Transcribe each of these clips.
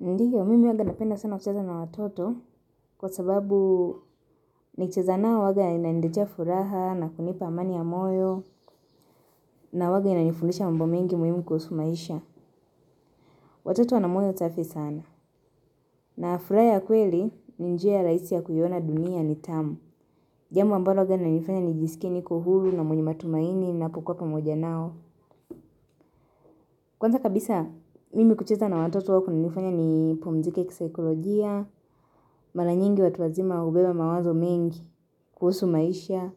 Ndio mimi huwanga napenda sana kucheza na watoto, kwa sababu nikicheza nao huwanga inaniletea furaha na kunipa amani ya moyo na huwanga inanifundisha mambo mengi muhimu kuhusu maisha. Watoto wana moyo safi sana. Na furaha ya kweli ni njia ya rahisi ya kuiona dunia ni tamu. Jambo ambalo huwaga inanifanya nijisikie niko huru na mwenye matumaini ninapokuwa pamoja nao. Kwanza kabisa mimi kucheza na watoto huwa kunanifanya nipumzike kisaikolojia, mara nyingi watu wazima hubeba mawazo mengi. Kuhusu maisha,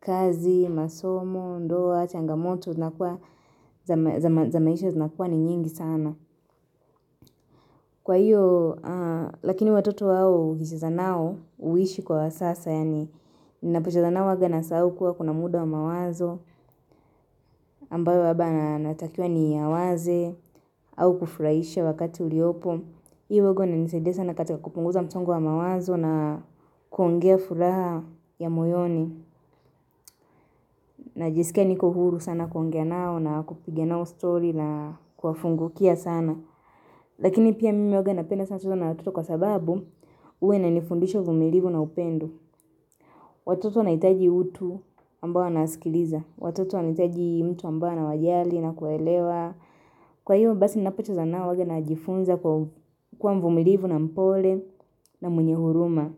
kazi, masomo, ndoa, changamoto, zinakuwa, za maisha zinakuwa ni nyingi sana. Kwa hiyo, lakini watoto wao, ukicheza nao, huishi kwa wasasa, yaani ninapocheza nao huwaga nasahau kuwa kuna muda wa mawazo, ambayo labda na natakiwa niyawaze, au kufurahisha wakati uliopo. Hii huwaga inanisaidia sana katika kupunguza msongo wa mawazo na kuongea furaha ya moyoni. Najisikia niko huru sana kuongea nao na kupiga nao story na kuwafungukia sana Lakini pia mimi huwaga napenda sana kucheza na watoto kwa sababu huwa inanifundisha uvumilivu na upendo. Watoto wanahitaji utu ambao wanasikiliza. Watoto wanahitaji mtu ambaye anawajali na kuwaelewa. Kwa hiyo basi ninapocheza nao huwaga najifunza kuwa mvumilivu na mpole na mwenye huruma.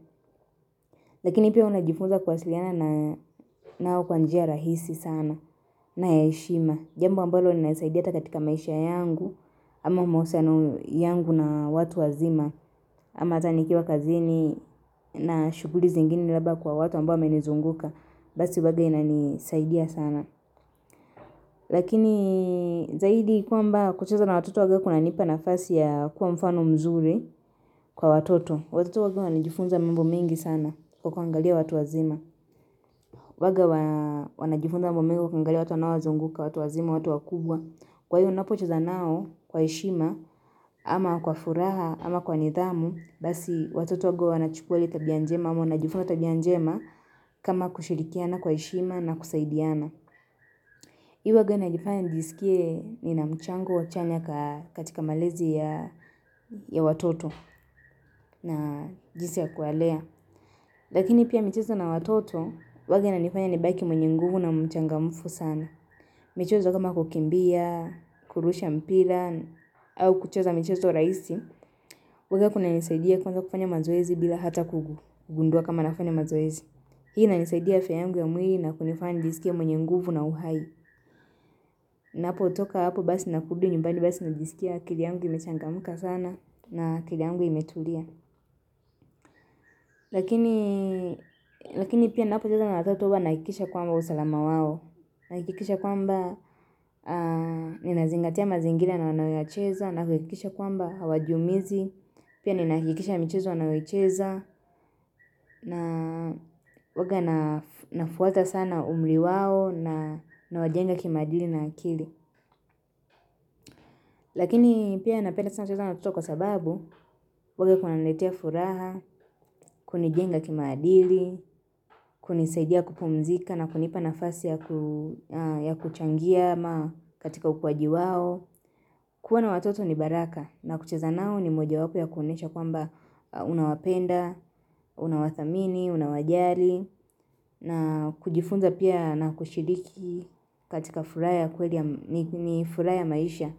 Lakini pia unajifunza kuwasiliana nao kwa njia rahisi sana na ya heshima, Jambo ambalo linanisaidia hata katika maisha yangu ama mahusiano yangu na watu wazima. Ama hata nikiwa kazini na shughuli zingine labda kwa watu ambao wamenizunguka. Basi huwaga inanisaidia sana Lakini zaidi kwamba kucheza na watoto huwaga kunanipa nafasi ya kuwa mfano mzuri kwa watoto. Watoto huwaga wanajifunza mambo mengi sana kwa kuangalia watu wazima. Huwaga wanajifunza mambo mengi wakiangalia watu wanaozunguka, watu wazima, watu wakubwa Kwa hiyo ninapocheza nao kwa heshima, ama kwa furaha, ama kwa nidhamu, basi watoto huwaga wanachukua hili tabia njema, ama wanajifunza tabia njema kama kushirikiana kwa heshima na kusaidiana. Hii huwaga inanifanya nijisikie nina mchango wa chanya katika malezi ya watoto na jinsi ya kuwalea. Lakini pia michezo na watoto, huwaga inanifanya nibaki mwenye nguvu na mchangamfu sana. Michezo kama kukimbia, kurusha mpira, au kucheza michezo rahisi, huwaga kunanisaidia kuanza kufanya mazoezi bila hata kugundua kama nafanya mazoezi. Hii inanisaidia afya yangu ya mwili na kunifanya nijisikie mwenye nguvu na uhai Napotoka hapo basi na kurudi nyumbani basi najisikia akili yangu imechangamka sana na akili yangu imetulia Lakini pia ninapocheza na watoto huwa nahakikisha kwamba usalama wao. Nahakikisha kwamba ninazingatia mazingira na wanayoyacheza nahakikisha kwamba hawajiumizi, pia ninahakikisha michezo wanayoicheza na huwaga nafuata sana umri wao na nawajenga kimaadili na akili. Lakini pia napenda sana kucheza na watoto kwa sababu, huwaga kunaniletea furaha, kunijenga kimaadili, kunisaidia kupumzika na kunipa nafasi ya kuchangia ama katika ukuaji wao. Kuwa na watoto ni baraka na kucheza nao ni moja wapo ya kuonyesha kwamba unawapenda, unawathamini, unawajali na kujifunza pia na kushiriki katika furaha ya kweli, ni furaha maisha.